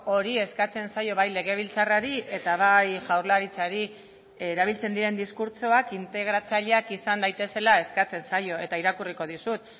hori eskatzen zaio bai legebiltzarrari eta bai jaurlaritzari erabiltzen diren diskurtsoak integratzaileak izan daitezela eskatzen zaio eta irakurriko dizut